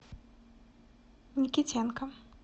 никитенко